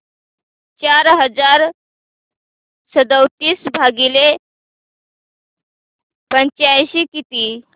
चार हजार सदतीस भागिले पंच्याऐंशी किती